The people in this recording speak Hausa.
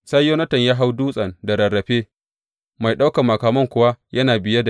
Sai Yonatan ya hau dutsen da rarrafe, mai ɗaukan makamansa kuwa yana biye.